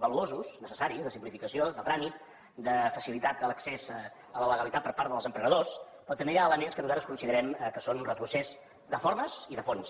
valuosos necessaris de simplificació de tràmit de facilitat a l’accés a la legalitat per part dels emprenedors però també hi ha elements que nosaltres considerem que són un retrocés de formes i de fons